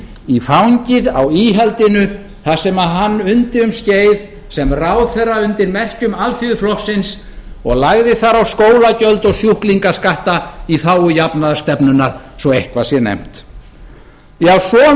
í fangið á íhaldinu þar sem hann undi um skeið sem ráðherra undir merkjum alþýðuflokksins og lagði þar á skólagjöld og sjúklingaskatta í þágu jafnaðarstefnunnar svo eitthvað sé nefnt já svona